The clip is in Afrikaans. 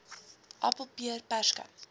appel peer perske